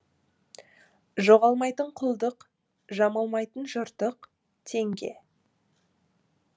жоғалмайтын құлдық жамалмайтын жыртық теңге